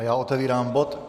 A já otevírám bod